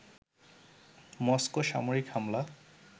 Moscow সামরিক হামলা